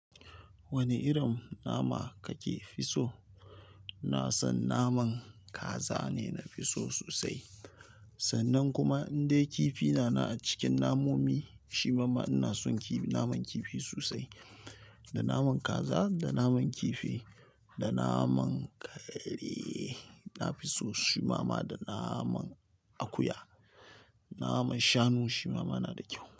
Wanna irin nama kake fi so. Ina san naman kaza ne nafi so sosai. Sannan kuma indai kifi nanan a cikin namomi, shimama ina son kifi naman kifi sosai, da naman kaza, da naman kifi, da naman kare. Na fi so shimama da naman akuya. Naman shanu shimama na da ƙyau.